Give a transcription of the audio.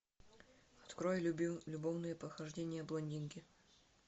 открой любовные похождения блондинки